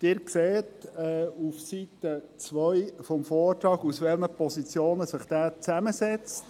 Sie sehen auf Seite 2 des Vortrags, aus welchen Positionen sich dieser zusammensetzt.